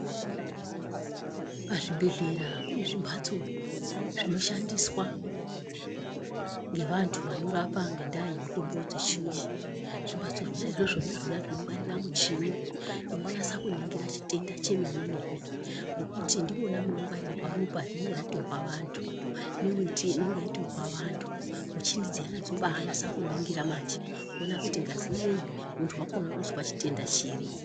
Pazvibhedhlera kune zvimbatso zvinoshandiswa ngevantu vanorapa ngendaa dzemitombo yechiyungu. zvimbatso zvona izvozvo ndizvona zvinongwarira muchini inonasa kuningira chitenda chemene. Ngekuti ndimona munongwarirwa ropa rinonga ratorwa vantu neveti inonga yatorwa vantu muchini dziyana dzobanasa kuningira manje. Kuona kuti ngazi inoiyi muntu vakona unozwa chitenda chiri.